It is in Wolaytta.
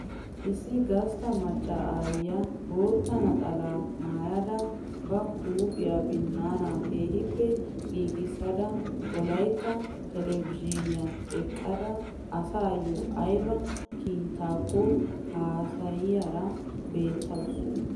Issi gastta maacca aayiyaa bootta naxalaa maayidaara ba huuphphiyaa binnaana keehippe giigissada wolaytta telebizhiiniyan eqqada asayoo ayba kiitakko haasayiyaara beettawus.